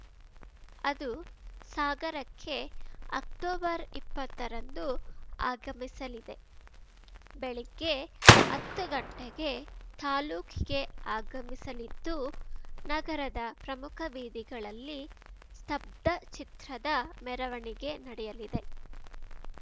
ಅದು ಸಾಗರಕ್ಕೆ ಅಕ್ಟೊಬರ್ಇಪ್ಪತ್ತರಂದು ಆಗಮಿಸಲಿದೆ ಬೆಳಗ್ಗೆ ಹತ್ತು ಗಂಟೆಗೆ ತಾಲೂಕಿಗೆ ಆಗಮಿಸಲಿದ್ದು ನಗರದ ಪ್ರಮುಖ ಬೀದಿಗಳಲ್ಲಿ ಸ್ತಬ್ಧಚಿತ್ರದ ಮೆರವಣಿಗೆ ನಡೆಯಲಿದೆ